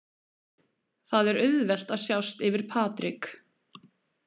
Það er auðvelt að sjást yfir Patrik.